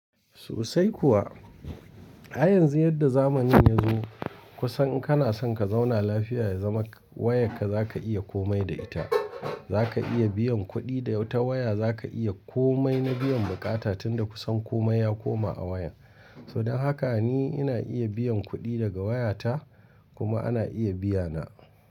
Sosai kuwa. A yanzu yadda zamanin ya zo, kusan kana son ka zauna lafiya ya zama wayarka za ka iya komai da ita. Za ka iya biyan kuɗi da yawa ta waya, za ka iya komai na biyan buƙata tunda kusan komai ya koma a waya. Saboda haka ni ina iya biyan kuɗi daga wayata kuma ana iya biya na.